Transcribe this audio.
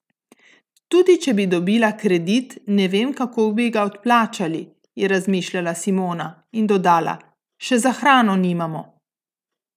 Tudi če bi dobila kredit, ne vem, kako bi ga odplačali," je razmišljala Simona in dodala: "Še za hrano nimamo.